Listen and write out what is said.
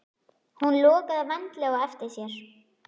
Hún lokaði vandlega á eftir sér.